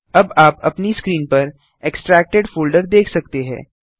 अब आप अपनी स्क्रीन पर एक्सट्रैक्टेड फोल्डर देख सकते हैं